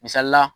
Misali la